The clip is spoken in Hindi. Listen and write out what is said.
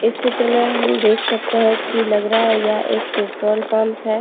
इस चित्र में हम देख सकते है कि लग रहा है यह एक पेट्रोल पंप है।